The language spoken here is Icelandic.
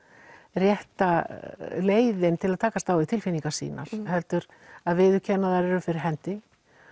rétta leiðin til að takast á við tilfinningar sínar heldur að viðurkenna að þær eru fyrir hendi